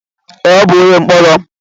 Ee, ọ bụ onye mkpọrọ.